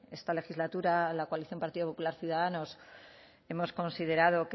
esta legislatura la coalición partido popular ciudadanos hemos considerado